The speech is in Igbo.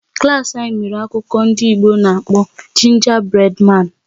Klas anyị mere akụkọ ndị oyibo n'akpọ Gingerbread Man"